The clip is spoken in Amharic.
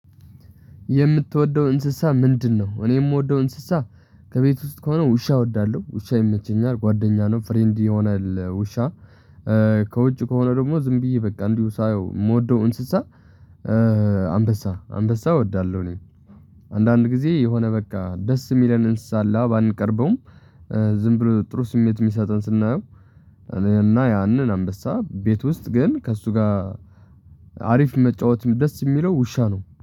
የምትወደው እንስሳ ምንድን ነው? እኔ የምወደው እንስሳ ከቤት ውስጥ ከሆነ ውሻ እወዳለሁ ውሻ ይመቸኛል ጓደኛ ነው ፍሬንድ ይሆናል ውሻ። ከውጭ ከሆነ ደግሞ ዝም ብዬ በቃ እንዲሁ ሳየው የምወደው እንስሳ አንበሳ አንበሳ እወዳለሁ። እኔ አንዳንድ ጊዜ የሆነ በቃ ደስ የሚለን እንስሳ አለ ባንቀርበውም ዝም ብሎ ጥሩ ስሜት የሚሰጠን ስናየው። እና ያንን አንበሳ ቤት ውስጥ ግን ከእሱ ጋር አሪፍ መጫወት ደስ የሚለው ውሻ ነው።